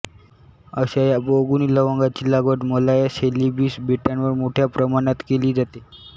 अशा या बहुगुणी लवंगाची लागवड मलाया सैलिबीस बेटांवर मोठ्या प्रमाणात केली जाते